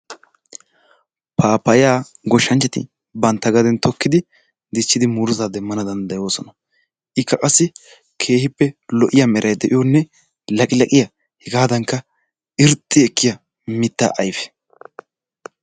Pappaayaa gooshshanchati bantta gaden tookkidi diichchidi muruttaa demmanawu danddayoosona. ikka qassi keehippe lo"iyaa meray de'iyoonne laqilaqiyaa hegaadannka irxxi ekkiyaa mittaa ayfe.